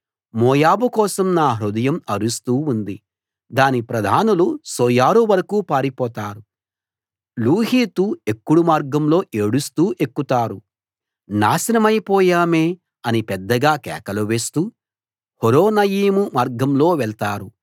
మోయాబు కోసం నా హృదయం అరుస్తూ ఉంది దాని ప్రధానులు సోయరు వరకూ పారిపోతారు లూహీతు ఎక్కుడు మార్గంలో ఏడుస్తూ ఎక్కుతారు నాశనమై పోయామే అని పెద్దగా కేకలు వేస్తూ హొరొనయీము మార్గంలో వెళ్తారు